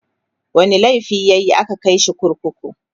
wani laifi yayi a ka Kai shi kurkuku?